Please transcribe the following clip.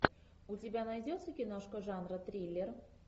у тебя найдется киношка жанра триллер